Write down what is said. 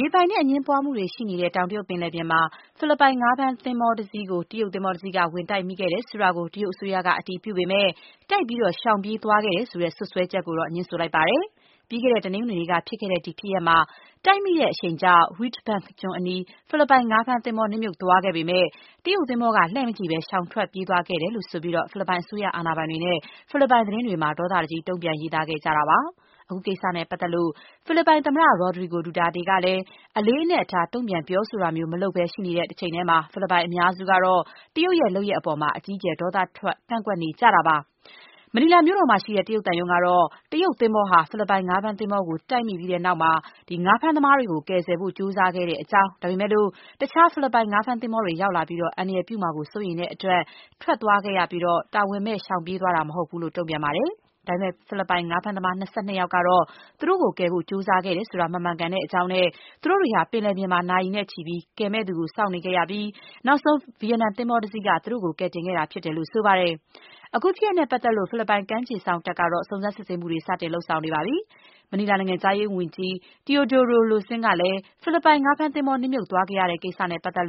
ရေပိုင်နက်အငြင်းပွားမှုတွေ ရှိနေတဲ့ တောင်တရုတ်ပင်လယ်ပြင်မှာ ဖိလစ်ပိုင်ငါးဖမ်းသင်္ဘောကို တရုတ်သင်္ဘောတစီးက ဝင်တိုက်မိခဲ့တယ်ဆိုတာကို တရုတ်အစိုးရက အတည်ပြုပေမဲ့ တိုက်ပြီး ရှောင်ပြေးသွားခဲ့တယ်ဆိုတဲ့ စွပ်စွဲချက်ကိုတော့ ငြင်းဆိုလိုက်ပါတယ်။ ပြီးခဲ့တဲ့ တနင်္ဂနွေနေ့က ဖြစ်ခဲ့တဲ့ ဒီဖြစ်ရပ်မှာ တိုက်မိတဲ့ အရှိန်ကြောင့် Reed Bank ကျွန်းအနီး ဖိလစ်ပိုင် ငါးဖမ်းသင်္ဘော နစ်မြှုပ်သွားခဲ့ပေမဲ့ တရုတ်သင်္ဘောက လှည့်မကြည့်ဘဲ ရှောင်ပြေး ထွက်သွားခဲ့တယ်လို့ ဆိုပြီး ဖိလစ်ပိုင်အစိုးရအာဏာပိုင်တွေနဲ့ ဖိလစ်ပိုင်သတင်းတွေမှာ ဒေါသတကြီး တုံ့ပြန်ပြောဆိုနေကြတာပါ။ အခုကိစ္စနဲ့ပတ်သက်လို့ ဖိလစ်ပိုင်သမ္မတ Rodrigo Duterte ကလည်း အလေးအနက် တုံ့ပြန်ပြောဆိုတာမျိုး မလုပ်ဘဲ ရှိနေတဲ့တချိန်တည်းမှာပဲ ဖိလစ်ပိုင်အများစုကတော့ တရုတ်ရဲ့လုပ်ရပ်အပေါ် အကြီးအကျယ် ဒေါသထွက် ကန့်ကွက်နေကြတာပါ။ မနီလာမြို့မှာရှိတဲ့ တရုတ်သံရုံးကတော့ တရုတ်သင်္ဘောဟာ ဖိလစ်ပိုင်ငါးဖမ်းသင်္ဘောကို တိုက်မိခဲ့ပြီးတဲ့နောက် ဖိလစ်ပိုင်ငါးဖမ်းသမားတွေကို ကယ်ဆယ်ဖို့ ကြိုးစားခဲ့တဲ့အကြောင်း ဒါပေမဲ့လို့ တခြား ဖိလစ်ပိုင် ငါးဖမ်းသင်္ဘောတွေ ရောက်လာပြီး အန္တရာယ်ပြုမှာကို စိုးရိမ်ရတဲ့အတွက် ထွက်သွားခဲ့ရပြီး တာဝန်မဲ့ ရှောင်ပြေးသွားတာ မဟုတ်ဘူးလို့ တုံ့ပြန်ပါတယ်။ ဒါပေမဲ့ ဖိလစ်ပိုင် ငါးဖမ်းသမား ၂၂ ယောက်ကတော့ သူတို့ကိုကယ်ဖို့ ကြိုးစားခဲ့တယ်ဆိုတာ မမှန်ကန်ကြောင်းနဲ့ သူတို့တွေဟာ ပင်လယ်ပြင်မှာ နာရီနဲ့ချီပြီး ကယ်မယ့်သူကို စောင့်ခဲ့ရပြီး နောက်ဆုံး ဗီယက်နန်သင်္ဘောတစီးက သူတို့ကို ကယ်တင်ခဲ့တာဖြစ်တယ်လို့ ဆိုပါတယ်။ အခုဖြစ်ရပ်နဲ့ ပတ်သက်လို့ ဖိလစ်ပိုင် ကမ်းခြေစောင့်တပ်ကတော့ စုံစမ်းစစ်ဆေးမှုတွေ စတင်လုပ်ဆောင်နေပါတယ်။ မနီလာနိုင်ငံခြားရေးဝန်ကြီး Teodoro Loscin ကလည်း ဖိလစ်ပိုင် ငါးဖမ်းသင်္ဘော နစ်မြှုပ်သွားခဲ့ရတဲ့ ကိစ္စနဲ့ပတ်သက်